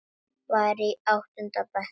Var í áttunda bekk.